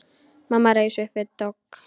Mamma reis upp við dogg.